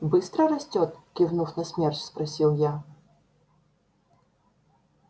быстро растёт кивнув на смерч спросил я